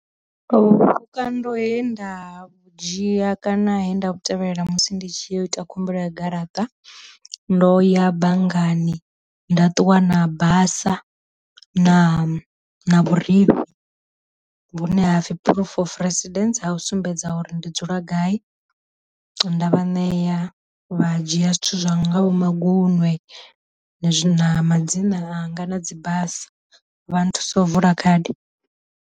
Vhukando he nda vhudzhia kana he nda vhu tevhelela musi ndi tshi ya u ita khumbelo ya garaṱa, ndo ya banngani nda ṱuwa na basa na na vhurifhi vhune hapfi proof of residence ha u sumbedza uri ndi dzula gai, nda vha nea vha dzhia zwithu zwa ngaho magunwe na madzina anga na dzi basa, vha nthusa u vula khadi.